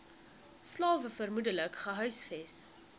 slawe vermoedelik gehuisves